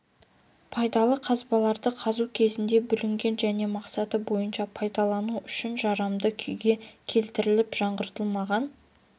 пайдалы қазбаларды қазу кезінде бүлінген және мақсаты бойынша пайдалану үшін жарамды күйге келтіріліп жаңғыртылмаған